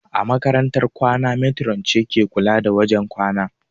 A makarantar kwana matron ce ke kula da wajen kwanan